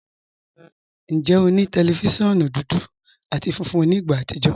Njẹ́, ọ ni tẹlifíṣíọ̀nù dúdú àti fúnfún ní ìgbà àtìjọ̀?